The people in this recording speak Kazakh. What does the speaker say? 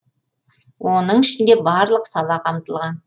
оның ішінде барлық сала қамтылған